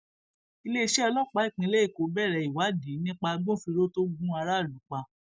iléeṣẹ ọlọpàá ìpínlẹ èkó bẹrẹ ìwádìí nípa agbófinró tó gun aráàlú pa